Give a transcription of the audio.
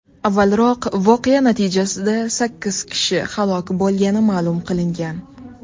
Avvalroq, voqea natijasida sakkiz kishi halok bo‘lgani ma’lum qilingan.